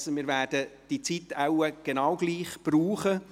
wir werden die vorgesehene Zeit wahrscheinlich genauso brauchen.